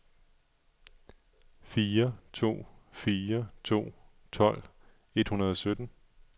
fire to fire to tolv et hundrede og sytten